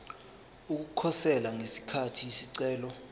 ukukhosela ngesikhathi isicelo